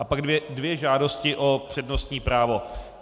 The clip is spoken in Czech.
A pak dvě žádosti o přednostní právo.